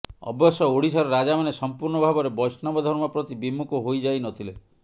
ଅବଶ୍ୟ ଓଡିଶାର ରାଜାମାନେ ସମ୍ପୂର୍ଣ୍ଣ ଭାବରେ ବୈଷ୍ଣବ ଧର୍ମ ପ୍ରତି ବିମୁଖ ହୋଇଯାଇନଥିଲେ